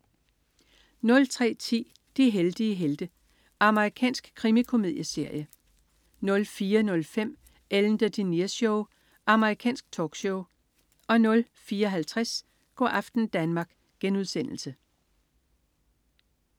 03.10 De heldige helte. Amerikansk krimikomedieserie 04.05 Ellen DeGeneres Show. Amerikansk talkshow 04.50 Go' aften Danmark*